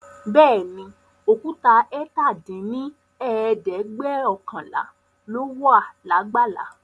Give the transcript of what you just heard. Bẹẹni, Òkúta ẹ̀ta dín ní ẹ̀ẹ́dẹ́gbẹ́ọ̀kànlá lóla lágbàlá